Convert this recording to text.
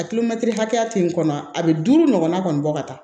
A hakɛya te n kɔnɔ a be duuru ɲɔgɔnna kɔni bɔ ka taa